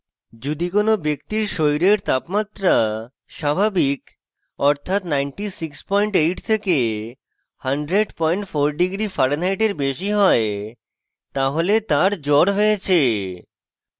যদি কোনো ব্যক্তির শরীরের তাপমাত্রা স্বাভাবিক অর্থাৎ 968 থেকে 1004º farenheit বেশি হয় তাহলে তার জ্বর হয়েছে